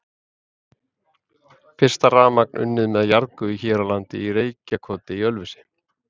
Fyrsta rafmagn unnið með jarðgufu hér á landi í Reykjakoti í Ölfusi.